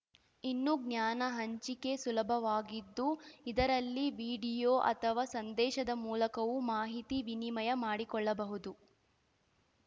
ಇನ್ನು ಜ್ಞಾನ ಹಂಚಿಕೆ ಸುಲಭವಾಗಿದ್ದು ಇದರಲ್ಲಿ ವೀಡಿಯೋ ಅಥವಾ ಸಂದೇಶದ ಮೂಲಕವೂ ಮಾಹಿತಿ ವಿನಿಮಯ ಮಾಡಿಕೊಳ್ಳಬಹುದು